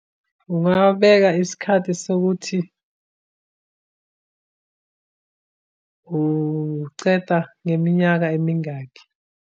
Ungabeka isikhathi sokuthi uceda ngeminyaka emingakhi.